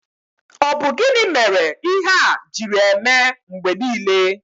Ọ bụ gịnị mere ihe a jiri eme mgbe niile?